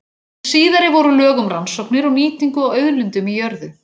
Hin síðari voru lög um rannsóknir og nýtingu á auðlindum í jörðu.